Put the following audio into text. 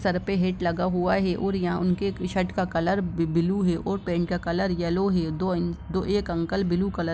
sir पे hat लगा हुआ है और यहां उनके टी-शर्ट का कलर ब्लू है पैंट का कलर येलो है दो एक उंकल ब्लू कॉलर --